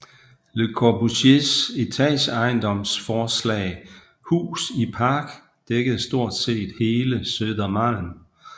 Le Corbusiers etageejendomsforslag Hus i Park dækkede stort set hele Södermalm